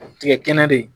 A bɛ tigɛ kɛnɛ de